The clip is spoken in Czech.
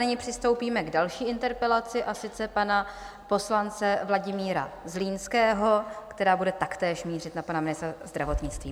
Nyní přistoupíme k další interpelaci, a sice pana poslance Vladimíra Zlínského, která bude taktéž mířit na pana ministra zdravotnictví.